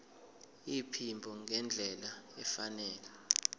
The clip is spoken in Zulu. iphimbo ngendlela efanele